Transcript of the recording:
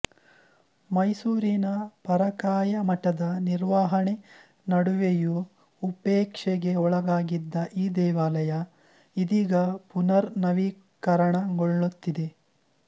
ಮೈಸೂರಿನ ಪರಕಾಯ ಮಠದ ನಿರ್ವಹಣೆ ನಡುವೆಯೂ ಉಪೇಕ್ಷೆಗೆ ಒಳಗಾಗಿದ್ದ ಈ ದೇವಾಲಯ ಇದೀಗ ಪುನರ್ ನವೀಕರಣಗೊಳುತ್ತಿದೆ